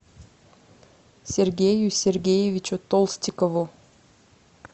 сергею сергеевичу толстикову